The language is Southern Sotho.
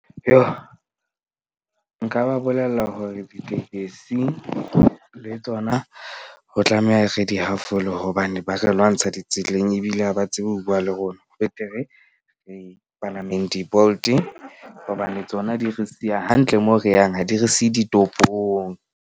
Nka ba bolella hore ditekesi le tsona, ho tlameha re di hafole. Hobane ba re lwantsha ditseleng ebile ha ba tsebe ho bua le rona betere re palameng di-Bolt-e. Hobane tsona di re siya hantle moo re yang ha di re siye ditopong.